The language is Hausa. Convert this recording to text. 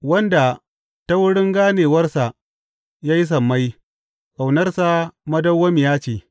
Wanda ta wurin ganewarsa ya yi sammai, Ƙaunarsa madawwamiya ce.